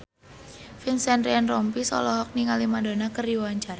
Vincent Ryan Rompies olohok ningali Madonna keur diwawancara